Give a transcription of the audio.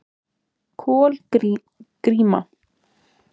Kolgríma